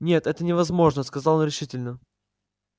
нет это невозможно сказал он решительно